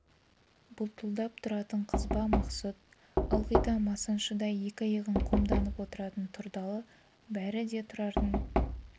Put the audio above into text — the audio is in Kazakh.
бұлтылдап тұратын қызба мақсұт ылғи да манасшыдай екі иығын қомданып отыратын тұрдалы бәрі де тұрардың